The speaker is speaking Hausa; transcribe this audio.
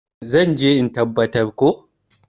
zan je in tabbar ko?